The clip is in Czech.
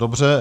Dobře.